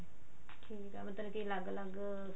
ਠੀਕ ਆ ਮਤਲਬ ਕੀ ਲੱਗ ਲੱਗ